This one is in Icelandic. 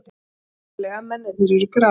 Sannlega, mennirnir eru gras.